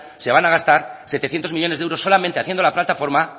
se van a gastar setecientos millónes de euros solamente haciendo la plataforma